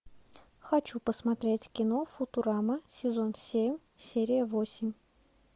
хочу посмотреть кино футурама сезон семь серия восемь